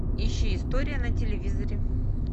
ищи история на телевизоре